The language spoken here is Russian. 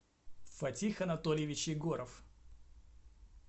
фатих анатольевич егоров